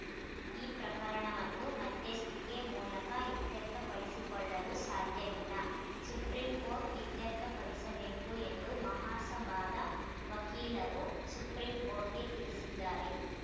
ಈ ಪ್ರಕರಣವನ್ನು ಮಧ್ಯಸ್ಥಿಕೆ ಮೂಲಕ ಇತ್ಯರ್ಥಪಡಿಸಿಕೊಳ್ಳಲು ಸಾಧ್ಯವಿಲ್ಲ ಸುಪ್ರೀಂ ಕೋರ್ಟ್ ಇತ್ಯರ್ಥಪಡಿಸಬೇಕು ಎಂದು ಮಹಾಸಭಾದ ವಕೀಲರು ಸುಪ್ರೀಂ ಕೋರ್ಟ್‌ಗೆ ತಿಳಿಸಿದ್ದಾರೆ